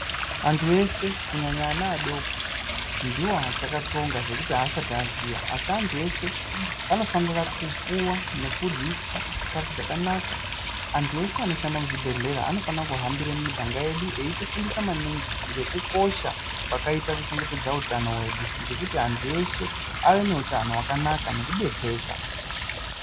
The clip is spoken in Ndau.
Antu eshe kunyanya ana adoko ndiwo achakatsonga zvekuti haasati aziya. Asi antu eshe anofanira kupuwa nekuryiswa chikafu chakanaka. Antu eshe anoshanda muzvibhedhlera anofana kuhambire mumiganga yedu eitifundisa maningi ngekukosha kwakaita kuchengetedza utano hwedu ngekuti antu eshe ave neutano hwakanaka nekudetsereka.